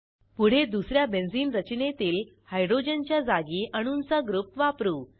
पुढे दुस या बेंझिन रचनेतील हायड्रोजनच्या जागी अणूंचा ग्रुप वापरू